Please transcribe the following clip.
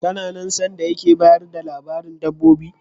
Kana nan sanda yake bayar da labarin dabbobi?